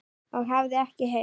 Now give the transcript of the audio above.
og hafði ekkert heyrt.